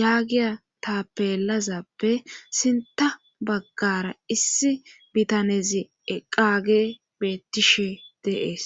yaagiya taapelazappe sinta baggara issi bitanezi eqage beettishe de'ees